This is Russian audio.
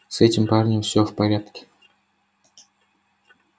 с этим парнем всё в порядке